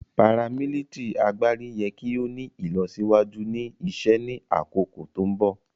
paramilitary agbari yẹ ki o ni ilọsiwaju ni isẹ ni akoko ti mbọ.